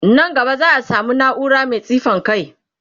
Nan gaba za'a samu naura Mai tsifan kai